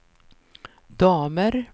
damer